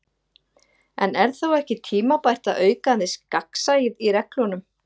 En er þá ekki tímabært að auka aðeins gagnsæið í reglunum?